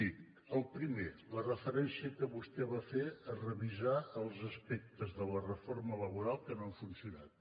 miri el primer la referència que vostè va fer a revisar els aspectes de la reforma laboral que no han funcionat